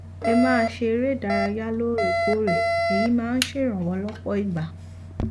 ẹ máa ṣe eré ìdárayá lóòrèkóòrè èyí máa ń ṣèrànwọ lọpọ ìgbà